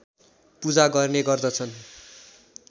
पूजा गर्ने गर्दछन्